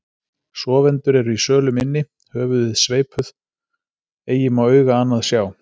Sofendur eru í sölum inni, höfuðin sveipuð, eigi má auga annað sjá.